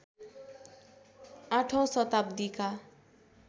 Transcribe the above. ८ औँ शताब्दीका